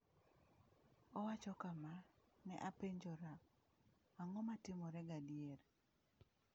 Owacho kama: “Ne apenjora - ang’o ma ne timore gadier?”